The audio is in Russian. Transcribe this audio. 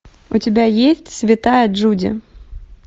у тебя есть святая джуди